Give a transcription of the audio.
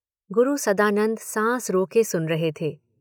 गुरु सदानंद सांस रोके सुन रहे थे।